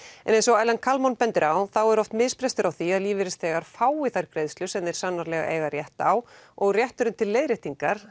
en eins og Ellen bendir á þá er oft misbrestur á því að lífeyrisþegar fái þær greiðslur sem þeir sannarlega eiga rétt á og rétturinn til leiðréttingar